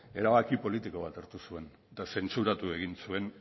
erabaki politiko hartu zuen eta zentsuratu egin zuen